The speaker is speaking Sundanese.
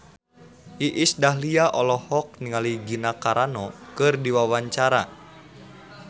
Iis Dahlia olohok ningali Gina Carano keur diwawancara